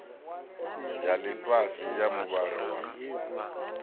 ya ḽifhasi ya muvhala wa